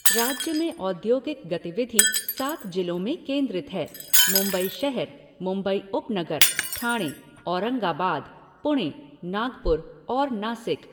राज्य में औद्योगिक गतिविधि सात जिलों में केंद्रित हैः मुंबई शहर, मुंबई उपनगर, ठाणे, औरंगाबाद, पुणे, नागपुर और नासिक।